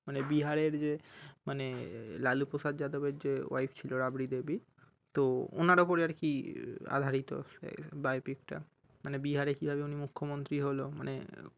মানে বিহারের যে মানে লালু প্রসাদ যাদবের যে Wife ছিলো রাবড়ি দেবী তো ওনার উপরে আর কি আধারিত তো সেই biopic টা মানে বিহারে কিভাবে উনি মুখ্য মন্ত্রী হলো মানে